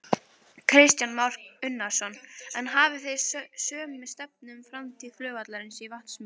Kristján Már Unnarsson: En hafið þið sömu stefnu um framtíð flugvallarins í Vatnsmýri?